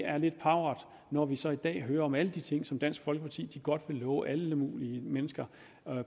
er lidt pauvert når vi så i dag hører om alle de ting som dansk folkeparti godt vil love alle mulige mennesker